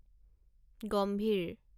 গম্ভীৰ